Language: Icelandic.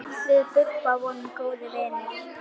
Við Bubba vorum góðir vinir.